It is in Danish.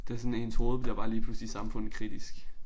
Det sådan ens hoved bliver bare lige pludselig samfundskritisk